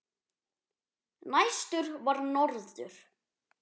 Næstur var norður.